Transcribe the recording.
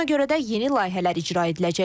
Buna görə də yeni layihələr icra ediləcək.